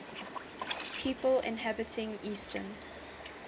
people inhabiting eastern